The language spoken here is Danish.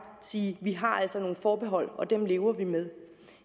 sige vi har altså nogle forbehold og dem lever vi med